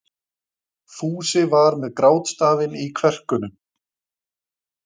Fúsi var með grátstafinn í kverkunum.